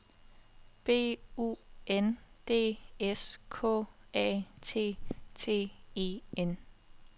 B U N D S K A T T E N